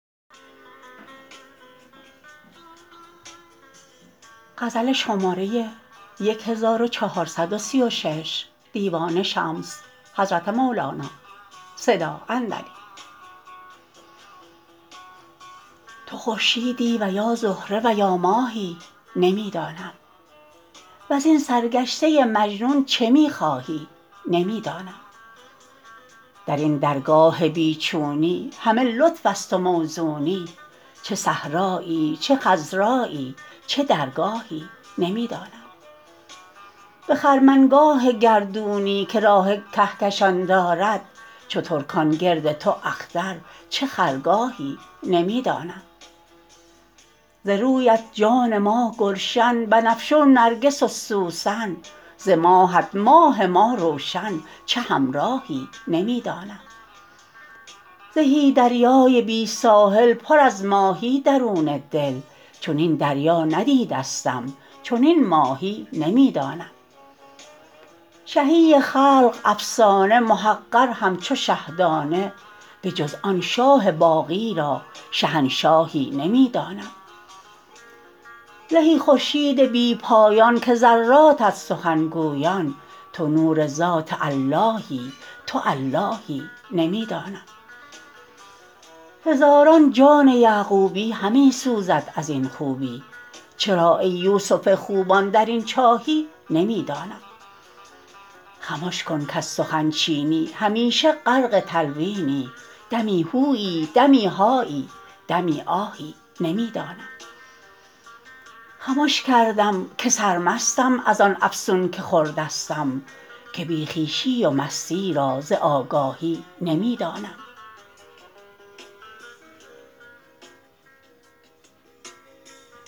تو خورشیدی و یا زهره و یا ماهی نمی دانم وزین سرگشته مجنون چه می خواهی نمی دانم در این درگاه بی چونی همه لطف است و موزونی چه صحرایی چه خضرایی چه درگاهی نمی دانم به خرمنگاه گردونی که راه کهکشان دارد چو ترکان گرد تو اختر چه خرگاهی نمی دانم ز رویت جان ما گلشن بنفشه و نرگس و سوسن ز ماهت ماه ما روشن چه همراهی نمی دانم زهی دریای بی ساحل پر از ماهی درون دل چنین دریا ندیدستم چنین ماهی نمی دانم شهی خلق افسانه محقر همچو شه دانه بجز آن شاه باقی را شهنشاهی نمی دانم زهی خورشید بی پایان که ذراتت سخن گویان تو نور ذات اللهی تو اللهی نمی دانم هزاران جان یعقوبی همی سوزد از این خوبی چرا ای یوسف خوبان در این چاهی نمی دانم خمش کن کز سخن چینی همیشه غرق تلوینی دمی هویی دمی هایی دمی آهی نمی دانم خمش کردم که سرمستم از آن افسون که خوردستم که بی خویشی و مستی را ز آگاهی نمی دانم